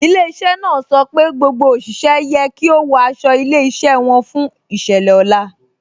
Ilẹ̀-iṣẹ́ náà sọ pé gbogbo oṣiṣẹ̀ yẹ kí o wọ̀ àṣọ ilẹ̀-iṣẹ́ wọn fún iṣẹ̀lẹ̀ ọlá.